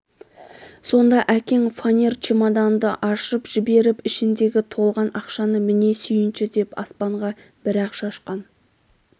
сонда әкең фонер чемоданды ашып жіберіп ішіндегі толған ақшаны міне сүйінші деп аспанға бір-ақ шашқан